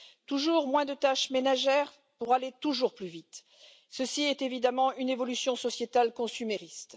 Toujours moins de tâches ménagères pour aller toujours plus vite, ce qui est évidemment une évolution sociétale consumériste.